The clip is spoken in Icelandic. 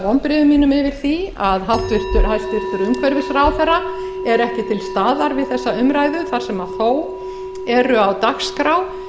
vonbrigðum mínum yfir því að hæstvirtur umhverfisráðherra sé ekki til staðar við þessa umræðu þar sem þó eru á dagskrá